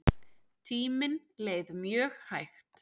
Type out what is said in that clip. Tíminn leið mjög hægt.